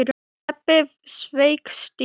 Stebbi sveik Stínu.